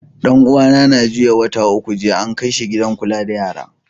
Dan uwa na ya juyo wata uku jiya, an kai shi gidan Kulla da yara.